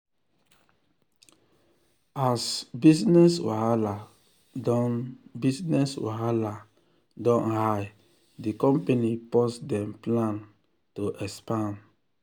as business wahala don business wahala don high di company pause dem plan um to expand.